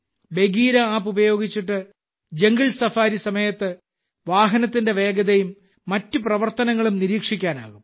Bagheera app ഉപയോഗിച്ച് jungle safari സമയത്ത് വാഹനത്തിന്റെ വേഗതയും മറ്റ് പ്രവർത്തനങ്ങളും നിരീക്ഷിക്കാനാകും